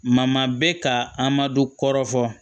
Ma ma bɛ ka a madu kɔrɔ fɔ